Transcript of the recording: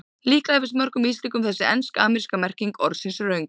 Líklega finnst mörgum Íslendingum þessi ensk-ameríska merking orðsins röng.